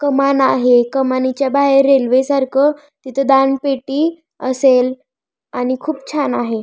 कमान आहे कमानीच्या बाहेर रेल्वेसारख तिथ दानपेटी असेल आणि खूप छान आहे.